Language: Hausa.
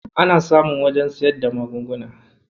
Ana samun wajen siyar da magunguna.